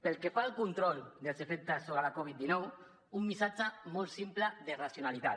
pel que fa al control dels efectes sobre la covid dinou un missatge molt simple de racionalitat